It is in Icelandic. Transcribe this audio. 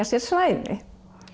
sér svæði